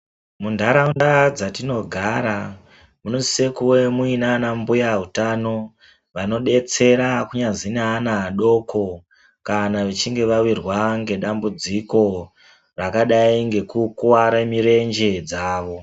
Muntharaunda dzatinogara ,munosise kuve muina anambuya utano, vanodetsera kunyazi neana adoko, kana vechinge vawirwa ngedzambudziko, rakadai ngekukuware mirenje dzavo.